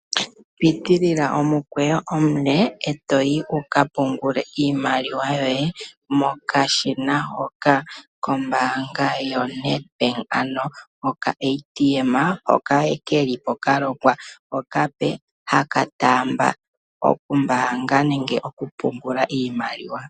Pitilila omukweyo omule ndele to ka pungula iimaliwa yoye tolongitha okashina hoka kombaanga yoNed bank ano okaATM hoka ke li kalongwa okape haka taamba okumbaanga nande okupungula iimaliwa.